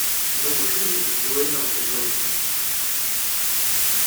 новый фильм с дуэйном джонсоном